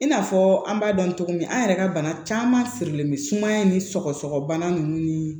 I n'a fɔ an b'a dɔn cogo min an yɛrɛ ka bana caman sirilen bɛ sumaya ni sɔgɔsɔgɔbana ninnu ni